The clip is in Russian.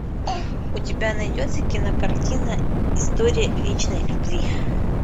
у тебя найдется кинокартина история вечной любви